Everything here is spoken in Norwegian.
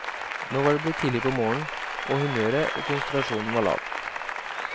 Nå var det blitt tidlig på morgenen, og humøret og konsentrasjonen var lav.